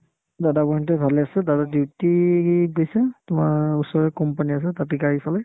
দাদা বৌ হঁতে ভালে আছে দাদাৰ duty ত গৈছে তোমাৰ ওচৰৰে company আছে তাতে গাড়ী চলাই